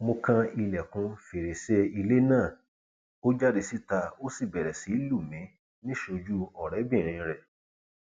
mo kan ilẹkùn fèrèsé ilé náà ó jáde síta ó sì bẹrẹ sí í lù mí níṣojú ọrẹbìnrin rẹ